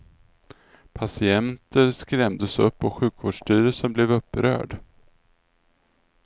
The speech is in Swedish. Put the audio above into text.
Patienter skrämdes upp och sjukvårdsstyrelsen blev upprörd.